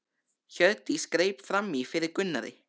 Hjördís greip fram í fyrir Gunnari.